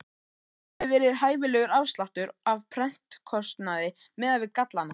Hver hefði verið hæfilegur afsláttur af prentkostnaði miðað við gallana?